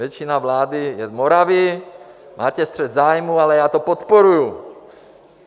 Většina vlády je z Moravy, máte střet zájmů, ale já to podporuji.